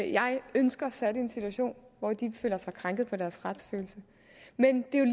jeg ønsker sat i en situation hvor de føler sig krænket på deres retsfølelse men det er